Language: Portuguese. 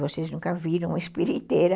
Vocês nunca viram uma espiriteira.